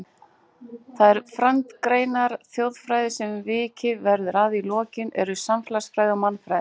Þær frændgreinar þjóðfræði sem vikið verður að í lokin eru félagsfræði og mannfræði.